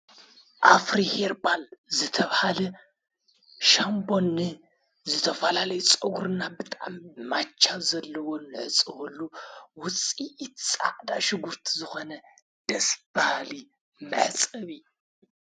ኣፍሪ ሄርባል ዘተብሃለ ሻንቦኒ ዘተፍላለይ ጸጕርና ብጣም ማቻ ዘለዎ ነዕፅወሉ ውፂቲ ጻዕዳ ሽጕርት ዝኾነ ደስባሃሊ መጸቢ።